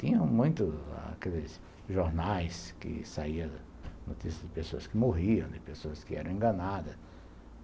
Tinha muitos jornais que saiam notícias de pessoas que morriam, de pessoas que eram enganadas.